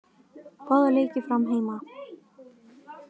Báðir leikir Fram heima